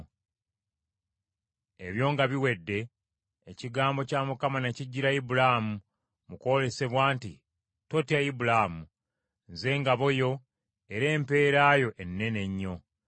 Ebyo nga biwedde, ekigambo kya Mukama ne kijjira Ibulaamu mu kwolesebwa nti, “Totya Ibulaamu, Nze ngabo yo era empeera yo ennene ennyo.”